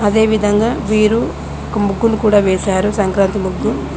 అదేవిధంగా వీరు ఒక ముగ్గును కూడా వేశారు సంక్రాంతి ముగ్గు